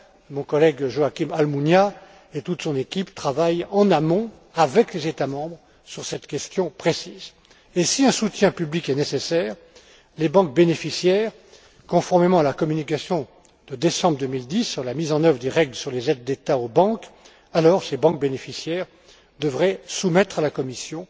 Mon collègue Joaquín Almunia et toute son équipe travaillent en amont avec les États membres sur cette question précise. Si un soutien public est nécessaire, les banques bénéficiaires, conformément à la communication de décembre 2010 sur la mise en œuvre des règles sur les aides d'État aux banques, devraient soumettre à la Commission